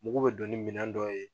Mugu bɛ don ni minɛn dɔw ye